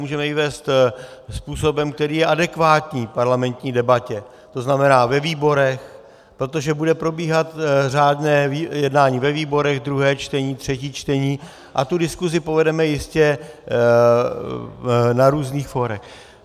Můžeme ji vést způsobem, který je adekvátní parlamentní debatě, to znamená ve výborech, protože bude probíhat řádné jednání ve výborech, druhé čtení, třetí čtení, a tu diskuzi povedeme jistě na různých fórech.